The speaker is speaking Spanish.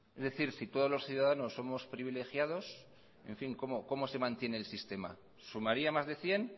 es decir si todos los ciudadanos somos privilegiados en fin cómo se mantiene el sistema sumaria más de cien